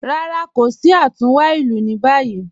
Rárá, kò sí àtúnwá ilù ní báyì